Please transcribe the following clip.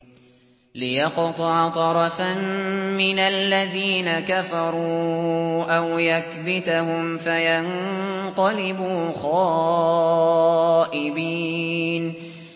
لِيَقْطَعَ طَرَفًا مِّنَ الَّذِينَ كَفَرُوا أَوْ يَكْبِتَهُمْ فَيَنقَلِبُوا خَائِبِينَ